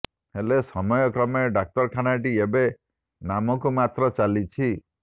ହେଲେ ସମୟ କ୍ରମେ ଡାକ୍ତରଖାନାଟି ଏବେ ନାମକୁ ମାତ୍ର ଚାଲିଛି